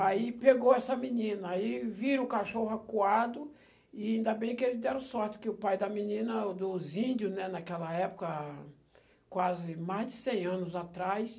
Aí pegou essa menina, aí viram o cachorro acuado, e ainda bem que eles deram sorte, que o pai da menina, dos índios, né, naquela época, quase mais de cem anos atrás.